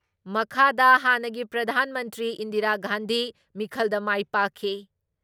ꯃꯈꯥꯗ ꯍꯥꯟꯅꯒꯤ ꯄ꯭ꯔꯙꯥꯟ ꯃꯟꯇ꯭ꯔꯤ ꯏꯟꯗꯤꯔꯥ ꯒꯥꯟꯙꯤ ꯃꯤꯈꯜꯗ ꯃꯥꯏ ꯄꯥꯛꯈꯤ ꯫